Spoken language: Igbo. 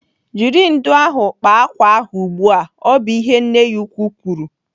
"Jiri ndụ̀ ahụ kpaa ákwà ahụ ugbu a!" bụ ihe nne ya ukwu kwuru.